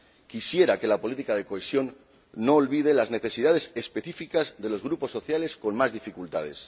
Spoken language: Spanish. Quisiera que la política de cohesión no olvide las necesidades específicas de los grupos sociales con más dificultades.